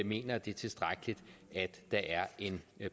mener det er tilstrækkeligt at der er en